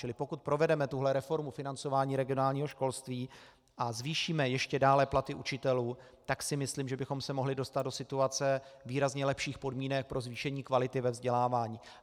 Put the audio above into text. Čili pokud provedeme tuto reformu financování regionálního školství a zvýšíme ještě dále platy učitelů, tak si myslím, že bychom se mohli dostat do situace výrazně lepších podmínek pro zvýšení kvality ve vzdělávání.